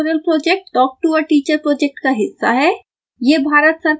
spoken tutorial project talk to a teacher project का हिस्सा है